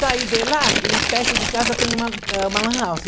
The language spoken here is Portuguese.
Saí de lá e perto de casa tem uma, é, uma lan house.